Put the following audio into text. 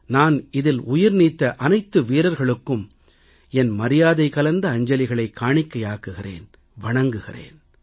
நான் இதில் உயிர்நீத்த அனைத்து வீரர்களுக்கும் என் மரியாதைகலந்த அஞ்சலிகளைக் காணிக்கையாக்குகிறேன் வணங்குகிறேன்